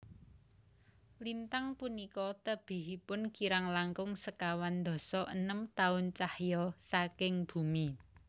Lintang punika tebihipun kirang langkung sekawan dasa enem taun cahya saking bumi